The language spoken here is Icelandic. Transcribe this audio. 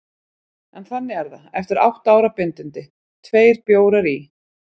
En þannig er það: Eftir átta ára bindindi, tveir bjórar í